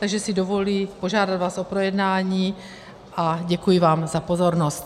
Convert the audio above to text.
Takže si dovoluji požádat vás o projednání a děkuji vám za pozornost.